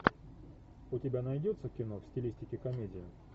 у тебя найдется кино в стилистике комедия